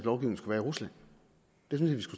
også